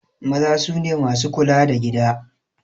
Maza sune masu kula da gida